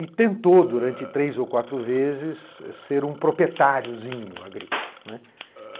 E tentou, durante três ou quatro vezes, ser um proprietáriozinho agrícola, né.